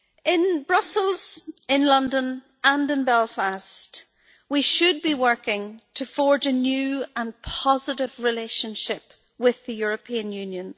In Brussels, in London and in Belfast, we should be working to forge a new and positive relationship with the European Union.